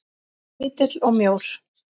Lítill og mjór.